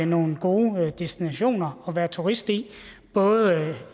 nogle gode destinationer at være turist i både